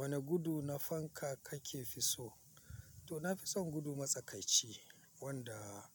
Wani gudu na fanka kake fi so? To, na fi son gudu matsakaici wanda